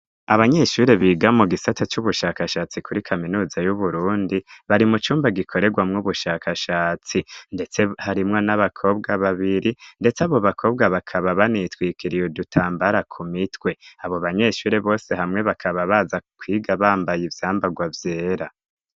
Abanyeshure biga mu gisate c'ubushakashatsi kuri kaminuza y'uburundi bari mu cumba gikorerwamwo ubushakashatsi, ndetse harimwo n'abakobwa babiri, ndetse abo bakobwa bakaba banitwikiriye dutambara ku mitwe abo banyeshure bose hamwe bakaba baza kwiga bambaye ivyambarwa vyera.